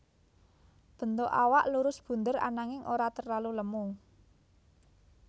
Bentuk awak lurus bunder ananging ora terlalu lemu